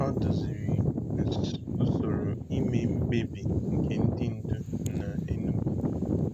Ọ duziri usoro ime mkpebi nke ndị ndu na Enugu.